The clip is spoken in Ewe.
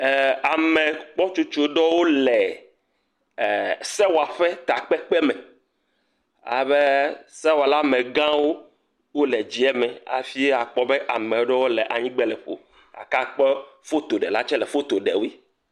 Ame gbɔtsotso ɖowo le sewɔaƒe takpekpe me, albe sewɔala me gã wo o le dzieme, hafi akpɔ be ameɖowo le anyigbe leƒo, gake akpɔ foto ɖela tse le foto ɖe woe.